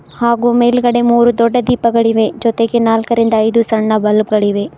ಹಾಗು ಮೇಲ್ಗಡೆ ಮೂರು ದೊಡ್ಡ ದೀಪಗಳಿವೆ ಜೊತೆಗೆ ನಾಲ್ಕರಿಂದ ಐದು ಸಣ್ಣ ಬಲ್ಬ ಗಳಿವೆ.